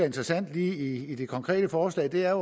interessant lige i det konkrete forslag er